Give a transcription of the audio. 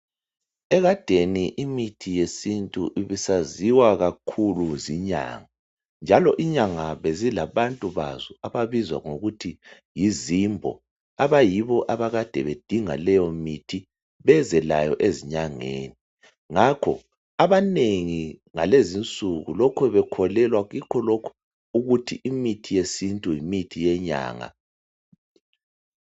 Ekadeni imithi yesintu ibisaziwa kakhulu zinyanga, njalo inyanga bezilabantu bazo ababizwa ngokuthi yizimbo abayibo abakade bedinga leyo mithi eze layo ezinyangeni, ngakho abanengi ngalezinsuku lokhe bekholelwa kikho konke lokhu ukuthi imithi yesintu yimithi yenyanga.